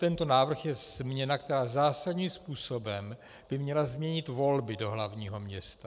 Tento návrh je změna, která zásadním způsobem by měla změnit volby do hlavního města.